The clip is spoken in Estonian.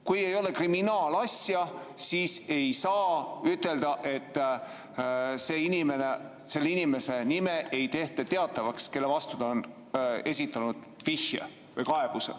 Kui ei ole kriminaalasja, siis ei saa ütelda, et selle inimese nime ei tehta teatavaks, kes on esitanud vihje või kaebuse.